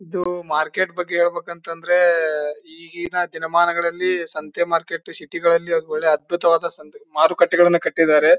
ಇದು ಮಾರ್ಕೆಟ್ ಬಗ್ಗೆ ಹೇಳ್ಬೇಕೆಂದ್ರೆ ಎ ಎ ಈಗಿನ ದಿನಮಾನಗಳಲ್ಲಿ ಸಂತೆ ಮಾರ್ಕೆಟ್ ಸಿಟಿಗಳ್ಳಲ್ಲಿ ಒಳ್ಳೆ ಅದ್ಬುತವಾದೆ. ಸಂದರ್ಭ ಮಾರುಕಟ್ಟೆಯನ್ನ ಕಟ್ಟಿದ್ದಾರೆ.